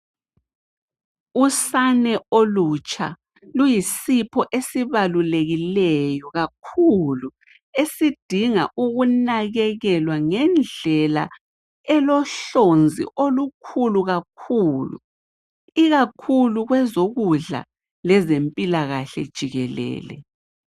Usane olutsha luyisipho esibalulekileyo kakhulu, esidinga ukunakekelwa ngendlela elohlonze olukhulu kakhulu, ikakhulu kwezokudla lezempilahle jikelele.